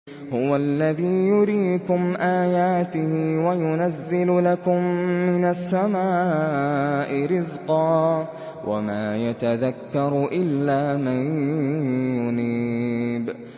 هُوَ الَّذِي يُرِيكُمْ آيَاتِهِ وَيُنَزِّلُ لَكُم مِّنَ السَّمَاءِ رِزْقًا ۚ وَمَا يَتَذَكَّرُ إِلَّا مَن يُنِيبُ